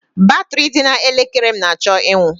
Batrị dị na elekere m na-achọ ịnwụ.